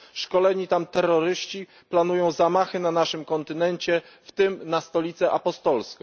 Szkoleni tam terroryści planują zamachy na naszym kontynencie, w tym na Stolicę Apostolską.